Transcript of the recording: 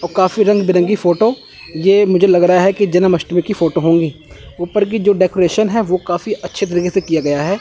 और काफी रंग बिरंगी फोटो ये मुझे लग रहा है कि जन्माष्टमी की फोटो होंगी ऊपर की जो डेकोरेशन है वो काफी अच्छे तरीके से किया गया हैं।